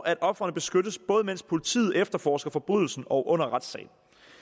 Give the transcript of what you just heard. at ofrene beskyttes både mens politiet efterforsker forbrydelsen og under retssagen